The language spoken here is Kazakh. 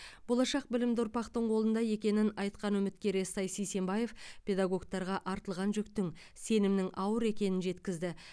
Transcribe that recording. болашақ білімді ұрпақтың қолында екенін айтқан үміткер естай сисенбаев педагогтарға артылған жүктің сенімнің ауыр екенін жеткізді